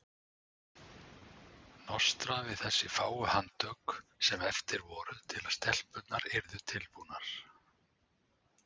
Nostra við þessi fáu handtök sem eftir voru til að stelpurnar yrðu tilbúnar.